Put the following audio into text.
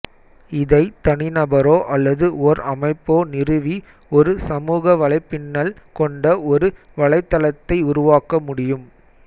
இதை தனிநபரோ அல்லது ஒர் அமைப்போ நிறுவி ஒரு சமூக வலைப்பின்னல் கொண்ட ஒரு வலைத்தளத்தை உருவாக்க முடியும்